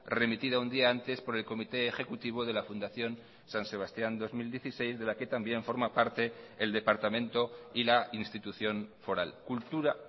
remitida un día antes por el comité ejecutivo de la fundación san sebastián dos mil dieciséis de la que también forma parte el departamento y la institución foral cultura